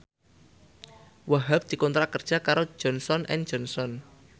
Wahhab dikontrak kerja karo Johnson and Johnson